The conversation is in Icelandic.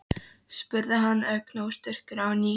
spurði hann ögn óstyrkur á ný.